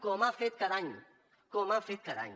com ha fet cada any com ha fet cada any